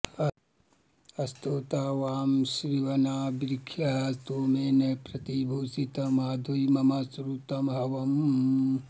स्तोता वामश्विनावृषिः स्तोमेन प्रति भूषति माध्वी मम श्रुतं हवम्